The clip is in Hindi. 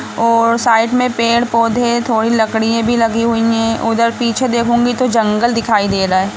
और साइड में पेड़ पौधे थोड़ी लकड़िएँ भी लगीं हुई है ऊधर पीछे देखूंगी तो जंगल दिखाई दे रहा है ।